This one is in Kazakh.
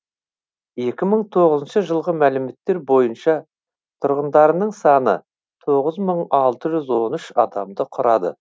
екі мың тоғызыншы жылғы мәліметтер бойынша тұрғындарының саны тоғыз мың алты жүз он үш адамды құрады